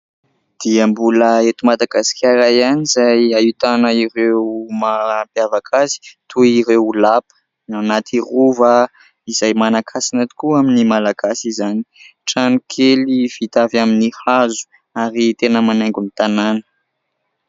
Dia mbola eto Madagasikara ihany izay ahitana ireo mahampiavaka azy toy ireo lapa, ny ao anaty Rova izay manan-kasina tokoa amin'ny Malagasy izany. Trano kely vita avy amin'ny hazo ary tena manaingo ny tanana.